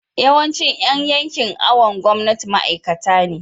yawancin Yan yankin awon gomnati ma'aikata ne